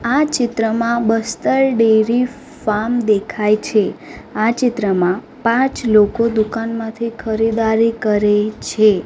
આ ચિત્રમાં Bastar dairy farm દેખાય છે આ ચિત્રમાં પાંચ લોકો દુકાનમાંથી ખરીદારી કરે છે.